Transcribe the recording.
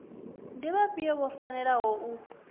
ndi vhafhio vho fanelaho u